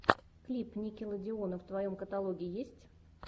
клип никелодеона в твоем каталоге есть